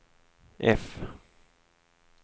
F